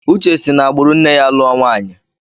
Uche si n'agbụrụ nne ya lụọ nwaanyi.